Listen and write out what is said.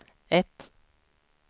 ett